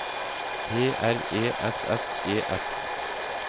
P R E S S E S